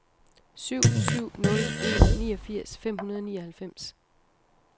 syv syv nul en niogfirs fem hundrede og nioghalvfems